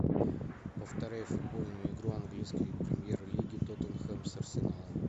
повторяй футбольную игру английской премьер лиги тоттенхэм с арсеналом